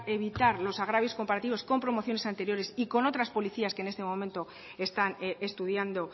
evitar los agravios comparativos con promociones anteriores y con otras policías que en este momento están estudiando